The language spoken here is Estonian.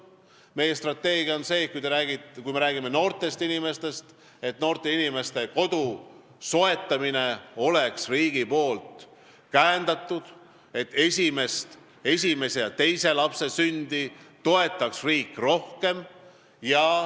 Kui me räägime noortest inimestest, siis on meie strateegia see, et noortel inimestel oleks kodu soetamine riigi poolt käendatud ning esimese ja teise lapse sündi toetaks riik rohkem.